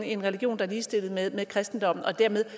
en religion der er ligestillet med kristendommen og dermed